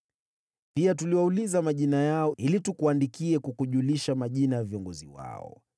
Pia tuliwauliza majina yao, ili tukuandikie kukujulisha majina ya viongozi wao.